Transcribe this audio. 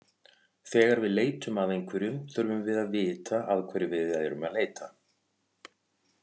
Þegar við leitum að einhverju þurfum við að vita að hverju við erum að leita.